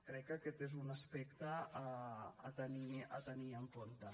crec que aquest és un aspecte a tenir en compte